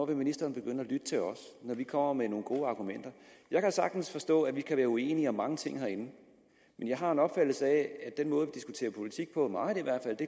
vil ministeren begynde at lytte til os når vi kommer med nogle gode argumenter jeg kan sagtens forstå at vi kan være uenige om mange ting herinde men jeg har en opfattelse af at den måde vi diskuterer politik på meget